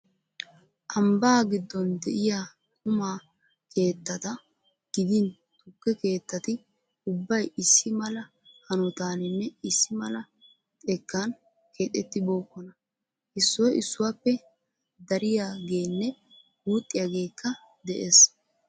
Ambbaa giddon de'iya quma keettata gidin tukke keettati ubbay issi mala hanotaaninne issi mala xekkan keexettibookkona. Issoy issuwappe dariyageenne guuxiyageekka de'ees.